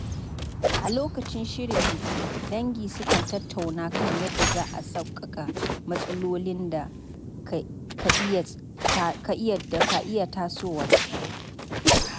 A lokacin shirin biki, dangi sukan tattauna kan yadda za a sauƙaƙa matsalolin da ka iya tasowa.